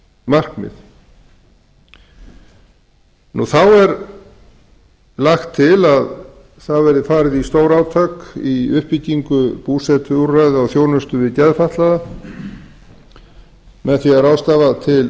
markmið þá er lagt til að það verði farið í stórátak í uppbyggingu búsetuúrræða og þjónustu við geðfatlaða með því að